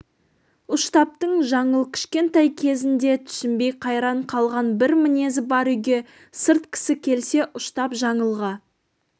ұштаптың жаңыл кішкентай кезінде түсінбей қайран қалған бір мінезі бар үйге сырт кісі келсе ұштап жаңылға